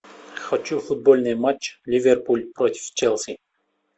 хочу футбольный матч ливерпуль против челси